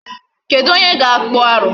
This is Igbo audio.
Kedụ onye ga-akpụ arụ.